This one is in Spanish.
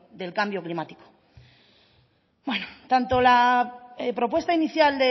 del cambio climático bueno tanto la propuesta inicial